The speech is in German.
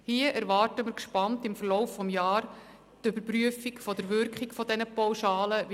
Hier erwarten wir im Verlauf des Jahres gespannt die von der JGK angekündigte Überprüfung der Wirkung dieser Pauschalen.